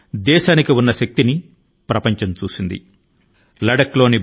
లద్దాఖ్ లోని భారతీయ గడ్డ పైకి కన్నెత్తి చూసే వారికి తగిన జవాబే దొరికింది